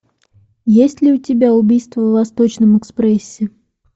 есть ли у тебя убийство в восточном экспрессе